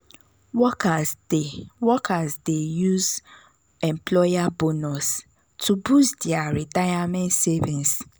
workers dey workers dey use employer bonus to boost their retirement savings.